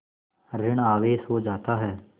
ॠण आवेश हो जाता है